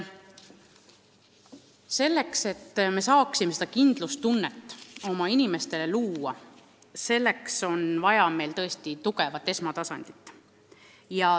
Selleks et me saaksime oma inimestele kindlustunnet pakkuda, on tõesti vaja tugevat esmatasandit.